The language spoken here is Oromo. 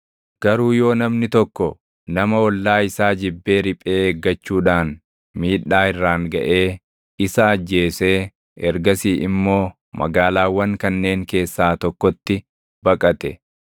Garuu yoo namni tokko nama ollaa isaa jibbee riphee eeggachuudhaan miidhaa irraan gaʼee isa ajjeesee ergasii immoo magaalaawwan kanneen keessaa tokkotti baqate,